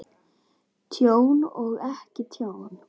Tjón og ekki tjón?